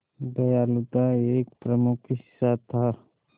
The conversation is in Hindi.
दयालुता एक प्रमुख हिस्सा था